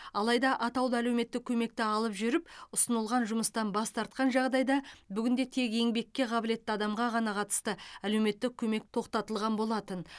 алайда атаулы әлеуметтік көмекті алып жүріп ұсынылған жұмыстан бас тартқан жағдайда бүгінде тек еңбекке қабілетті адамға ғана қатысты әлеуметтік көмек тоқтатылған болатын